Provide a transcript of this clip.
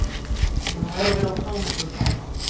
Hún horfir á táneglur pabba.